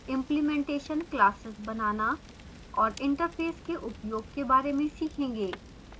implementation classes बनानाऔर interface के उपयोग के बारे में सीखेंगे